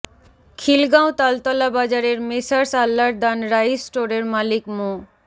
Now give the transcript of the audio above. খিলগাঁও তালতলা বাজারের messrs Allardan rice স্টোরের মালিক মো